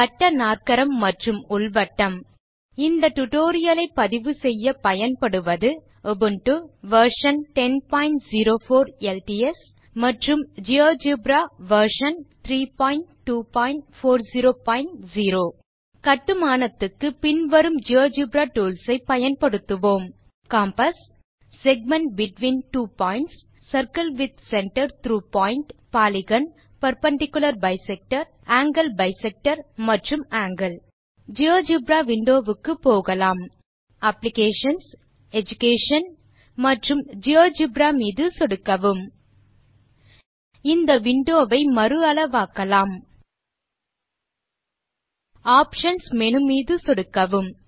வட்டநாற்கரம் மற்றும் உள் வட்டம் இந்த டியூட்டோரியல் லை பதிவுசெய்ய பயன் படுவது Linux operating system Ubuntu version 1004 LTS மற்றும் ஜியோஜெப்ரா வெர்ஷன் 32400 கட்டுமானத்துக்கு பின் வரும் ஜியோஜெப்ரா டூல்ஸ் ஐ பயன்படுத்துவோம் compass segment between two points circle with center through point polygon perpendicular bisector angle bisector மற்றும் ஆங்கில் ஜியோஜெப்ரா விண்டோ க்கு போகலாம் இதற்கு அப்ளிகேஷன்ஸ் எடுகேஷன் மற்றும் ஜியோஜெப்ரா மீது சொடுக்கவும் இந்த விண்டோ வை மறு அளவாக்கலாம் ஆப்ஷன்ஸ் மேனு மீது சொடுக்கவும்